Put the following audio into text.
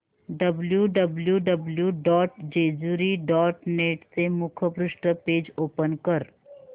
W W W dot Jejuri dot net चे मुखपृष्ठ page open कर